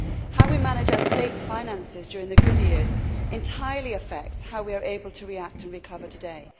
How we manage our states' finances during the good years entirely affects how we are able to react and recover today.